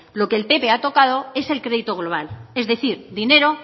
lo que el pp ha tocado es el crédito global es decir dinero